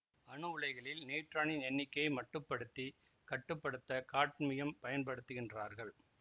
அணு உலைகளில் நியூட்ரானின் எண்ணிக்கையை மட்டுப்படுத்தி கட்டு படுத்த காட்மியம் பயன் படுத்துகின்றார்கள்